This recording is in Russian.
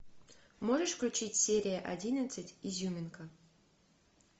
можешь включить серия одиннадцать изюминка